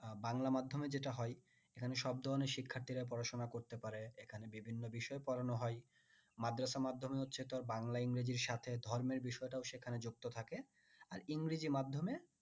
উম বাংলা মাধ্যমে যেটা হয় এখানে সব ধরনের শিক্ষার্থীরাই পড়াশোনা করতে পারে এখানে বিভিন্ন বিষয় পড়ানো হয় মাদ্রাসা মাধ্যমে হচ্ছে তোর বাংলা ইংরাজির সাথে ধর্মের বিষয়টাও সেখানে যুক্ত থাকে আর ইংরেজি মাধ্যমে